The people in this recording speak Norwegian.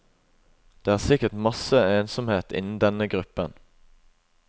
Det er sikkert masse ensomhet innen denne gruppen.